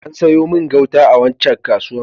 An sayo min gauta a waccan kasuwar.